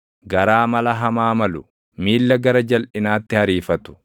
garaa mala hamaa malu, miilla gara jalʼinaatti ariifatu,